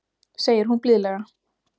segir hún blíðlega.